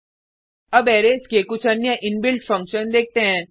अब अरैज के कुछ अन्य इनबिल्ट फंक्शन देखते हैं